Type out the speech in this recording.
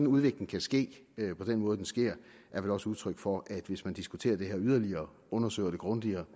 udviklingen kan ske på den måde den sker er vel også udtryk for at hvis man diskuterer det her yderligere og undersøger det grundigere